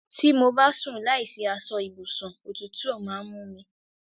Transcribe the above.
Tí mo bá sùn láìsí aṣọ ibùsùn òtútù máa ń mú mí